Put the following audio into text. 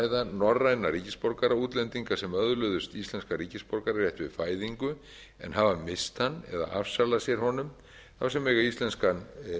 ræða norræna ríkisborgaraútlendinga sem öðluðust íslenskan ríkisborgararétt við fæðingu en hafa misst hann eða afsalað sér honum þá sem eiga íslenskan